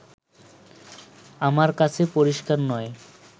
আমার কাছে পরিষ্কার নয়